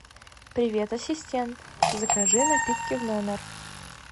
привет ассистент закажи напитки в номер